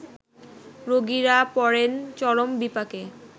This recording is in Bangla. রোগীরা পড়েন চরম বিপাকে